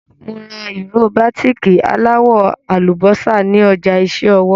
Mo ra ìró bàtíìkì aláwọ̀ àlùbọ́sà ní ọjà iṣẹ́ ọwọ́.